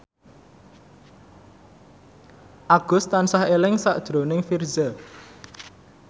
Agus tansah eling sakjroning Virzha